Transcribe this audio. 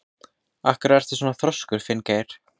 Af hverju ertu svona þrjóskur, Finngeir?